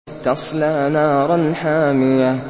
تَصْلَىٰ نَارًا حَامِيَةً